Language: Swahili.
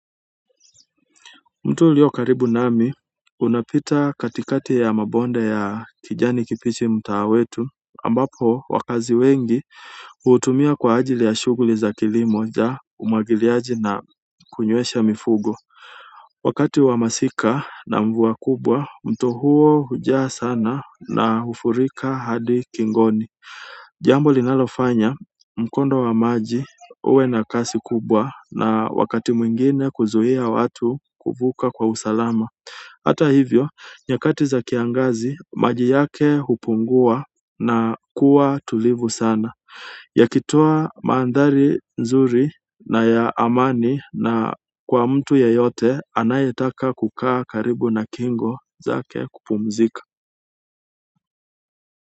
Mto ulio karibu nami unapita katikati ya mabonde ya kijani kibichi mtaani kwetu ambapo wakazi wengi huutumia kwa ajili ya shughuli za kilimo, umwagiliaji na kunywesha mifugo. Wakati wa masika na mvua kubwa mto huo hujaa sana na hufurika hadi kingoni. Jambo linalofanya mkondo wa maji uwe na kasi kubwa na wakati mwingine kuzuia watu kuvuka kwa usalama. Hata hivyo, nyakati za kiangazi maji yake hupungua na kuwa tulivu sana. Yakitoa mandhari nzuri na ya amani kwa mtu yeyote anayetaka kukaa karibu na kingo zake kupumzika.